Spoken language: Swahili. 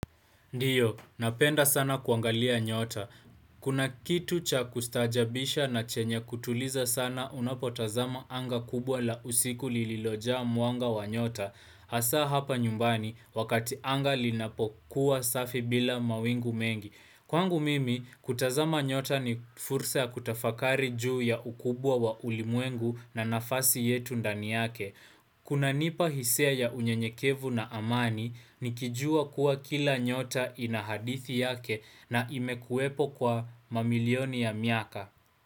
Ndiyo, napenda sana kuangalia nyota. Kuna kitu cha kustaajabisha na chenya kutuliza sana unapotazama anga kubwa la usiku lililojaa mwanga wa nyota. Asa hapa nyumbani, wakati anga linapokuwa safi bila mawingu mengi. Kwangu mimi, kutazama nyota ni fursa ya kutafakari juu ya ukubwa wa ulimwengu na nafasi yetu ndani yake. Kunanipa hisia ya unyenyekevu na amani nikijua kuwa kila nyota ina hadithi yake na imekuwepo kwa mamilioni ya miaka.